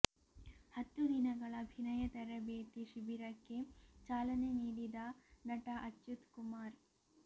ಹತ್ತು ದಿನಗಳ ಅಭಿನಯ ತರಬೇತಿ ಶಿಬಿರಕ್ಕೆ ಚಾಲನೆ ನೀಡಿದ ನಟ ಅಚ್ಯುತ್ ಕುಮಾರ್